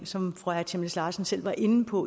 som fru aaja chemnitz larsen selv var inde på